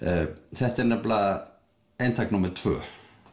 þetta er nefnilega eintak númer tvö